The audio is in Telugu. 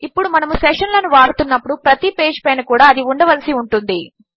ఇప్పుడు మనము సెషన్ లను వాడుతున్నప్పుడు ప్రతి పేజ్ పైన కూడా అది ఉండవలసి ఉంటుంది